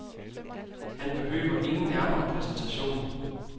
Han behøver ingen nærmere præsentation.